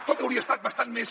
tot hauria estat bastant més